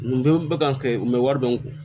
Nin bɛɛ bɛ kan kɛ u bɛ wari dɔn